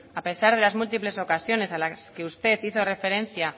a pesar de las múltiples ocasiones a las que usted hizo referencia